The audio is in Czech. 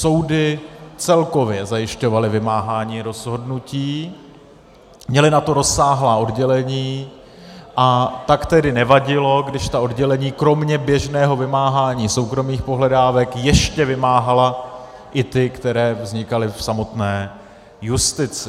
Soudy celkově zajišťovaly vymáhání rozhodnutí, měly na to rozsáhlá oddělení, a tak tedy nevadilo, když ta oddělení kromě běžného vymáhání soukromých pohledávek ještě vymáhala i ty, které vznikaly v samotné justici.